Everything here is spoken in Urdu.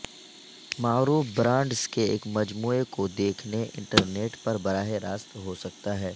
معروف برانڈز کے ایک مجموعہ کو دیکھنے انٹرنیٹ پر براہ راست ہو سکتا ہے